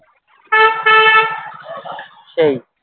সেই